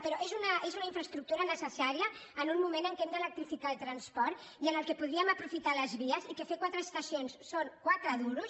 però és una infraestructura necessària en un moment en què hem d’electrificar el transport i en què podríem aprofitar les vies i que fer quatre estacions són quatre duros